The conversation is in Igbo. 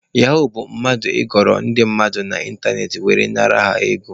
Yahuu bụ mmadụ ịghọrị ndị mmadụ n'ịntanetị were nara ha ego.